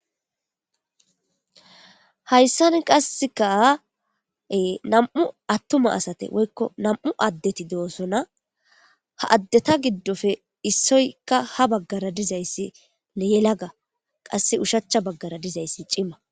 Hayssan qassekaae nam'u attuma asate woykko nam'u addeti de'osona ha addeta giddofe issoykka ha baggara dizayssi leyelaga qasse ushacha baggara dizayssi cima.